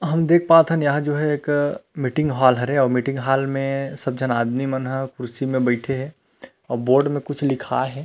हम देख पाथन यहाँ जो हैं एक मीटिंग हॉल हैं मीटिंग हॉल में सब झन आदमी मनहा कुर्सी म बैठे हे अऊ बोर्ड में कुछ लिखाए हे।